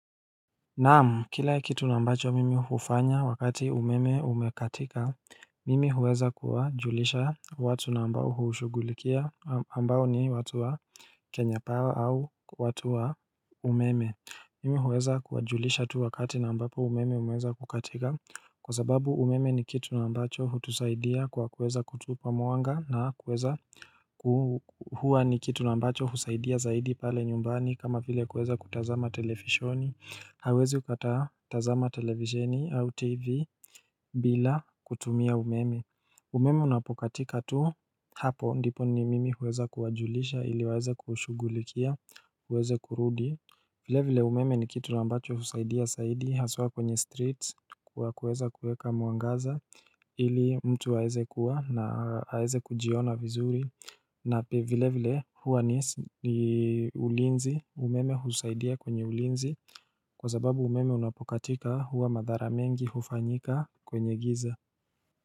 Naam, kila kitu ambacho mimi hufanya wakati umeme umekatika, mimi huweza kuwajulisha watu ambao hushugulikia ambao ni watu wa Kenya pawa au watu wa umeme. Mimi huweza kuwajulisha tu wakati ambapo umeme umeweza kukatika Kwa sababu umeme ni kitu ambacho hutusaidia kwa kuweza kutupa mwanga na kuweza Hua ni kitu ambacho husaidia zaidi pale nyumbani kama vile kuweza kutazama televisheni, hauwezi ukatazama televisheni au tv bila kutumia umeme. Umeme unapokatika tu, hapo ndipo ni mimi huweza kuwajulisha ili waweze kushugulikia, iweze kurudi vile vile, umeme ni kitu ambacho husaidia haswa kwenye streets kwa kuweza kueka mwangaza ili mtu aeze kuwa na aeze kujiona vizuri na pia vile vile huwa ni ulinzi. Umeme husaidia kwenye ulinzi kwa zababu umeme unapokatika huwa madhara mengi hufanyika kwenye giza.